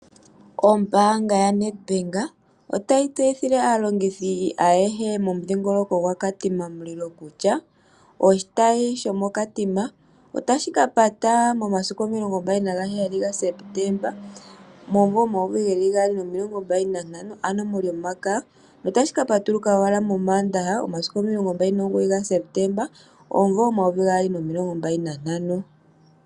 Ombaanga yaNedbank otayi tseyithile aalongithi ayehe momudhingoloko gwaKatima otashi kapata momasiku 27 Sepetemba 2025 ano molyomakaya. Otashi kapatuluka ashike momandaha momasiku 29 Sepetemba 2025.